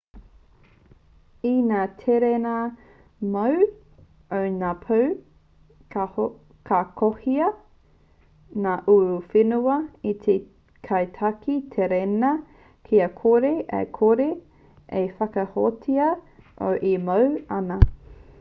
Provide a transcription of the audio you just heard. i ngā tereina-moe o ngā pō ka kohia ngā uruwhenua e te kaitaki tereina kia kore ai koe e whakahōhātia nōu e moe ana